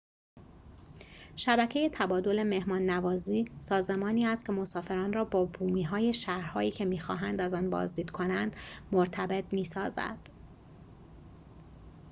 شبکه تبادل مهمان‌نوازی سازمانی است که مسافران را با بومی‌های شهرهایی که می‌خواهند از آن بازدید کنند مرتبط می‌سازد